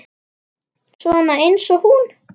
Svona eins og hún?